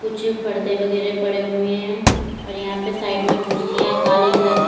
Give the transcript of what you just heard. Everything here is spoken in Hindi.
पीछे परदे वगैरा पड़े हुए हैं और यहां पे साइड में कुर्सियां काली कलर की--